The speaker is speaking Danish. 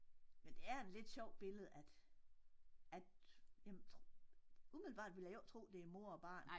Men det er en lidt sjov billede at at jamen umiddelbart ville jeg jo ikke tro det er mor og barn